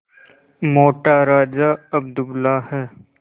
मोटा राजा अब दुबला है